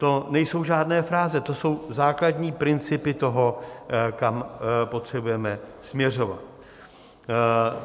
To nejsou žádné fráze, to jsou základní principy toho, kam potřebujeme směřovat.